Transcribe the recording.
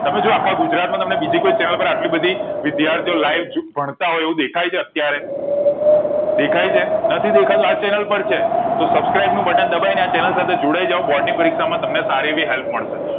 તમે જો આખા ગુજરાત માં તમને બીજી કોઈ channel આટલી બધી વિદ્યાર્થીઓ live જો ભણતા હોય એવું દેખય છે અત્યારે દેખાય છે નથી દેખાતું આજ channel પર છે તો subscribe નું બટન દબાવી ને આ channel સાથે જોડાઈ જાવ બોર્ડ ની પરીક્ષા માં તમને સારી આવી help મળશે